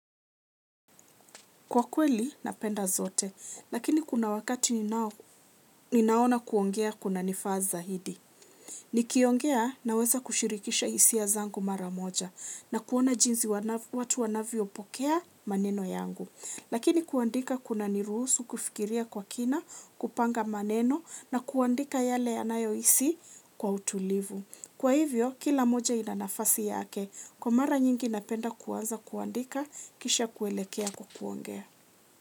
Kwa kweli napenda zote lakini kuna wakati ninaona kuongea kuna nifaa zaidi. Nikiongea naweza kushirikisha hisia zangu mara moja na kuona jinsi watu wanavyopokea maneno yangu. Lakini kuandika kuna niruhusu kufikiria kwa kina kupanga maneno na kuandika yale yanayo hisi kuwa utulivu. Kwa hivyo kila mmoja ina nafasi yake kwa mara nyingi napenda kuanza kuandika kisha kuelekea kuongea.